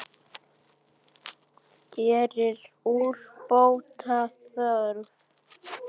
Hér er úrbóta þörf.